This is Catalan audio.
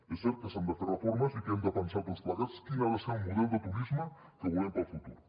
és cert que s’han de fer reformes i que hem de pensar tots plegats quin ha de ser el model de turisme que volem per al futur